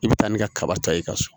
I bɛ taa ni kaba ta ye ka so